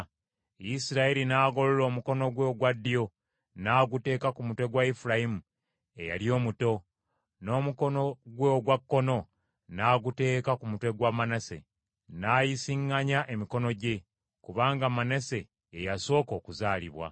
Isirayiri n’agolola omukono gwe ogwa ddyo n’aguteeka ku mutwe gwa Efulayimu eyali omuto, n’omukono gwe ogwa kkono n’aguteeka ku mutwe gwa Manase, n’ayisiŋŋanya emikono gye, kubanga Manase ye yasooka okuzaalibwa.